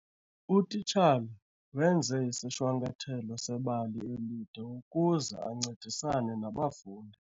Utitshala wenze isishwankathelo sebali elide ukuze ancedisane nabafundi.